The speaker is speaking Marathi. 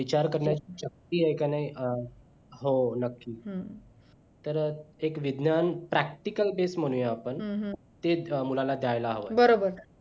विचार करण्याची शक्ती आहे का नाही हो नक्की तर एक विज्ञान practical तेच म्हणूया आपण तेच मुलाला द्दायला हवं